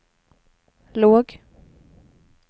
låg